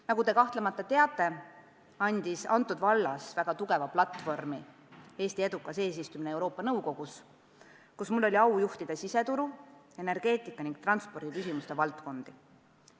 Nagu te kahtlemata teate, andis mulle selles vallas väga tugeva platvormi Eesti edukas eesistumine Euroopa Liidu Nõukogus, kus mul oli au juhtida siseturu, energeetika ning transpordi valdkonda.